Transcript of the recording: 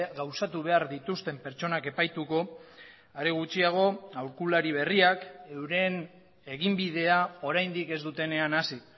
gauzatu behar dituzten pertsonak epaituko are gutxiago aholkulari berriak euren eginbidea oraindik ez dutenean hasi